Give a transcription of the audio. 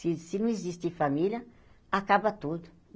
Se se não existir família, acaba tudo.